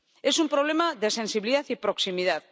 Es un problema de sensibilidad y proximidad.